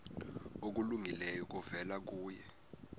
okulungileyo kuvela kuye